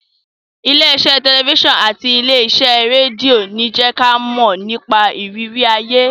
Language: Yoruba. Ilé iṣẹ́ tẹ̀lifísàn àti ilé iṣẹ́ rédíò ń jẹ́ kí a mọ̀ nípa ìrírí ayé